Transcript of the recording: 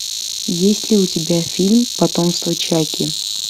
есть ли у тебя фильм потомство чаки